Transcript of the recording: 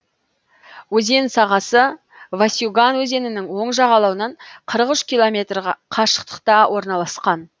өзен сағасы васюган өзенінің оң жағалауынан қырық үш километр қашықтықта орналасқан